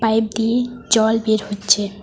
Pipe দিয়ে জল বের হচ্ছে।